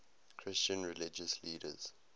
christian religious leaders